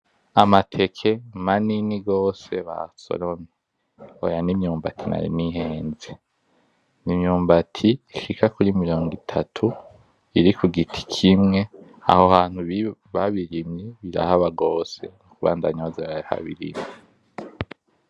Amateke manini gose basoromye, oya ni imyumbati nari nihenze. Ni imyumbati ishika kuri mirongo itatu iri ku giti kimwe, aho hantu babirimye birahaba gose, nukubandanya baza barahabirima.